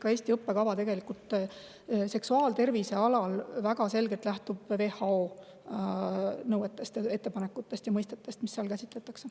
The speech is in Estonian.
Ka Eesti õppekava seksuaaltervise alal tegelikult väga selgelt lähtub WHO nõuetest, ettepanekutest ja mõistetest, mida seal käsitletakse.